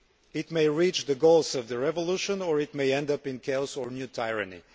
It may reach the goals of the revolution or it may end up in chaos or new tyranny.